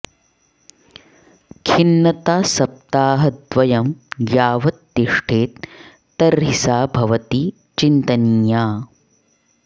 खिन्नता सप्ताहद्वयं यावत् तिष्ठेत् तर्हि सा भवति चिन्तनीया